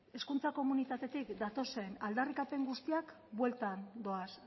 hezkuntza komunitatetik datozen aldarrikapen guztiak bueltan doaz